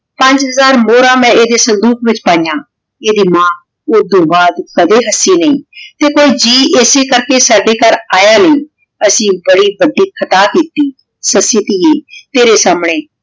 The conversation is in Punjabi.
ਪੰਜ ਹਜ਼ਾਰ ਮੋਹਰਾਂ ਮੈਂ ਏਡੀ ਸੰਦੂਕ ਵਿਚ ਪੈਯਾਂ ਏਡੀ ਮਾਨ ਓਦੋਂ ਬਾਅਦ ਕਦੇ ਹੱਸੀ ਨਹੀ ਤੇ ਕੋਈ ਜੀ ਏਸੀ ਕਰ ਕੇ ਸਾਡੇ ਗਹਰ ਯਾ ਨਾਈ ਅਸੀਂ ਬਾਨੀ ਬਚੀ ਖਾਤਾ ਦਿਤੀ ਸੱਸੀ ਟੀ ਤੇਰੀ ਸੰਨੀ